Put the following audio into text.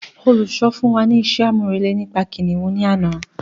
Olùkọ̀ fún wa ní isé àmúrelé nípa kìnìún ní àná